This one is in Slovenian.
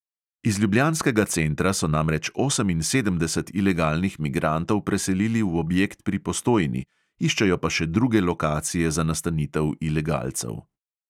Iz ljubljanskega centra so namreč oseminsedemdeset ilegalnih migrantov preselili v objekt pri postojni, iščejo pa še druge lokacije za nastanitev ilegalcev.